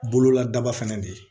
Bolola daba fɛnɛ de ye